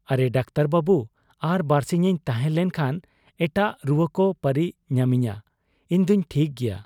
ᱼᱼᱼ ᱟᱨᱮ ᱰᱟᱠᱛᱚᱨ ᱵᱟᱹᱵᱩ ! ᱟᱨ ᱵᱟᱹᱨᱥᱤᱧ ᱤᱧ ᱛᱟᱦᱮᱸ ᱞᱮᱱ ᱠᱷᱟᱱ ᱮᱴᱟᱜ ᱨᱩᱣᱟᱹᱠᱚ ᱯᱟᱹᱨᱤ ᱧᱟᱢᱤᱧᱟ ᱾ ᱤᱧᱫᱩᱧ ᱴᱷᱤᱠ ᱜᱮᱭᱟ ᱾